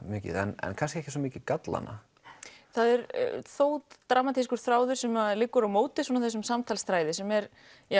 mikið en kannski ekki svo mikið gallana það er þó dramatískur þráður sem liggur á móti þessum samtalsþræði sem er